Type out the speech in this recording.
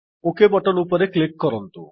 okay button ଉପରେ କ୍ଲିକ୍କ କରନ୍ତୁ